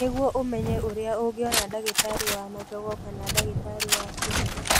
Nĩguo ũmenye ũrĩa ũngĩona ndagĩtarĩ wa magego kana ndagĩtarĩ wa kĩni.